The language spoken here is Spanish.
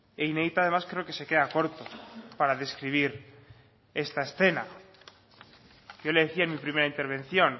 e inédita además creo que se queda corto para describir esta escena yo le decía en mi primera intervención